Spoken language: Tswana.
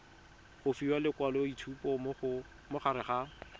go fiwa lekwaloitshupo morago ga